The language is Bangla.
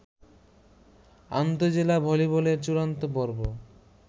আন্তঃজেলা ভলিবলের চূড়ান্ত পর্ব